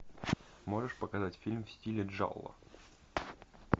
можешь показать фильм в стиле джалло